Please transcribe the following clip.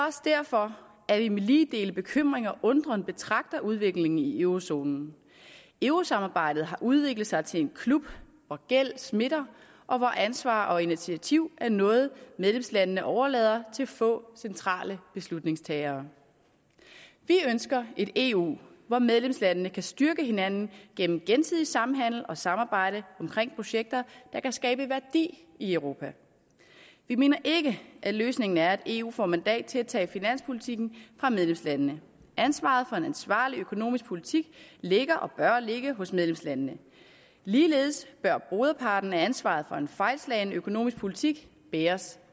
også derfor at vi med lige dele bekymring og undren betragter udviklingen i eurozonen eurosamarbejdet har udviklet sig til en klub hvor gæld smitter og hvor ansvar og initiativ er noget medlemslandene overlader til få centrale beslutningstagere vi ønsker et eu hvor medlemslandene kan styrke hinanden igennem gensidig samhandel og samarbejde omkring projekter der kan skabe værdi i europa vi mener ikke at løsningen er at eu får mandat til at tage finanspolitikken fra medlemslandene ansvaret for en ansvarlig økonomisk politik ligger og bør ligge hos medlemslandene ligeledes bør broderparten af ansvaret for en fejlslagen økonomisk politik bæres